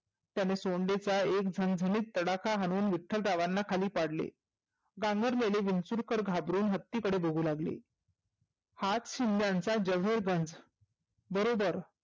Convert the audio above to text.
त्याने सोंडेचा एक झनझनीत तडाखा हाणून विठ्ठलरावांना खाली पाडले. भांबरलेले विंचुरकर घाबरूण हत्तीकडे बघु लागले. हात शिंद्यांचा बरोबर